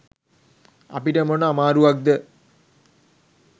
අපිට මොන අමාරුවක්ද?